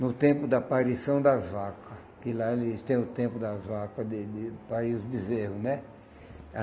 no tempo da aparição das vacas, que lá eles têm o tempo das vacas, de de do país do bezerro, né?